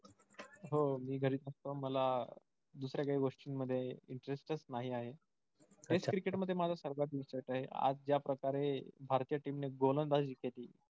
हो मी घरीच असतो मला दुसऱ्या काही गोष्टीं मध्ये interest च नाही आहे. test cricket मध्ये माझा आहे आज ज्या प्रकारे भारतीय team ने गोलंदाजी केली.